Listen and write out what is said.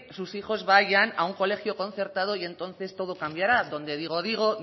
sus hijos vayan a un colegio concertado y entonces todo cambiará donde digo